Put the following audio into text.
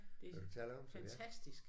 Det er fantastisk